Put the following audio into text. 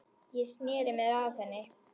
Ég sneri mér að henni.